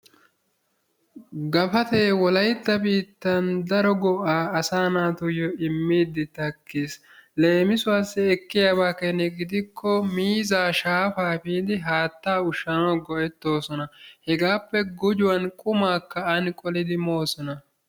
Gafatay wolaytta biittaan daro go"aa asa naatuyoo immiidi takkiis. Leemisuwaassi ekiyaaba keena gidiko miizzaa shaafaa efiidi haattaa ushshanawu go"ettoosna. hegaappe gujuwaan qumaakka ani qoolidi moosona.